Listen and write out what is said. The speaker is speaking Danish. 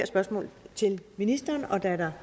spørgsmål til ministeren og da der